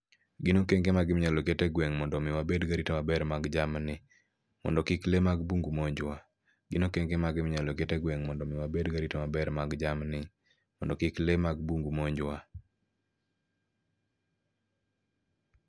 Gin okenge mage minyalo ket e gweng' mondomi wabed garita maber mar jamni mondo kik lee mag bungu kik monjwa? Gin okenge mage minyalo ket e gweng' mondomi wabed garita maber mar jamni mondo kik lee mag bungu kik monjwa?